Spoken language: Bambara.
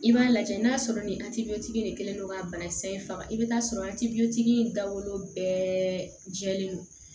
I b'a lajɛ n'a sɔrɔ ni de kɛlen don k'a banakisɛ in faga i bɛ taa sɔrɔ in dabɔlen bɛɛ jɛlen don